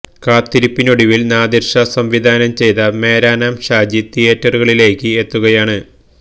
കാത്തിരിപ്പിനൊടുവിൽ നാദിർഷ സംവിധാനം ചെയ്ത മേരാ നാം ഷാജി തിയേറ്ററുകളിലേക്ക് എത്തുകയാണ്